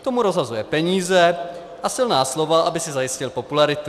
To mu rozhazuje peníze a silná slova, aby si zajistil popularitu.